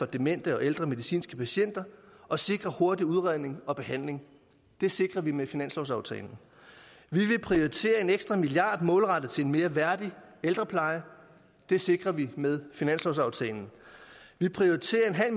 demente og ældre medicinske patienter og sikre hurtig udredning og behandling det sikrer vi med finanslovsaftalen vi vil prioritere en ekstra milliard kroner målrettet til en mere værdig ældrepleje det sikrer vi med finanslovsaftalen vi prioriterer